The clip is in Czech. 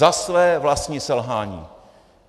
Za své vlastní selhání.